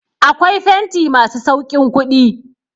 Akwai fenti masu sauƙin kuɗi.